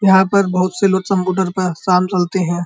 यहाँ पर बहुत से लोग सम्पुटर पे शाम सलते हैं।